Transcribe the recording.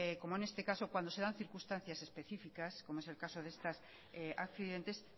como en este caso cuando se dan circunstancias específicas como es el caso de estos accidentes